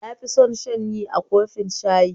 Na fi son shanyi a kofin shayi